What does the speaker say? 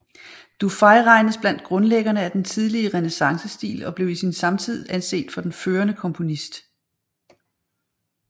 Dufay regnes blandt grundlæggerne af den tidlige renæssancestil og blev i sin samtid anset for den førende komponist